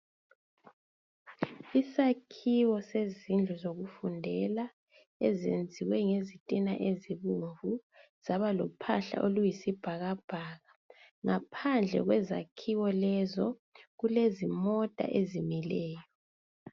Isakhiwo sezindlu zokufundela, ezenziwe ngezitina ezibomvu zabalophahla oluyisibhakabhaka . Ngaphandle kwezakhiwo lezo kulezimota ezimileyo.